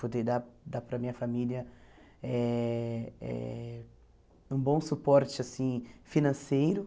Poder dar dar para a minha família eh eh um bom suporte assim financeiro.